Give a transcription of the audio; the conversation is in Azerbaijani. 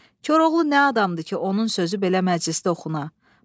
Koroğlu nə adamdır ki, onun sözü belə məclisdə oxuna?”